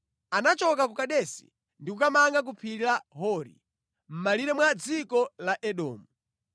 Anachoka ku Kadesi ndi kukamanga ku phiri la Hori, mʼmalire mwa dziko la Edomu.